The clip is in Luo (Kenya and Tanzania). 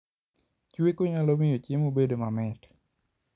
Chweko nyalo miyo chiemo bedo mamit